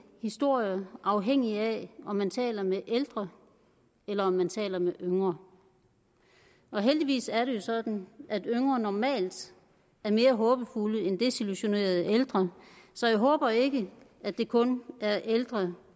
historier afhængigt af om man taler med ældre eller om man taler med yngre og heldigvis er det jo sådan at yngre normalt er mere håbefulde end desillusionerede ældre så jeg håber ikke at det kun er ældre